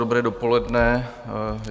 Dobré dopoledne.